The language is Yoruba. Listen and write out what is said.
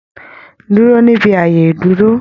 Dúró níbi ààyè ìdúró!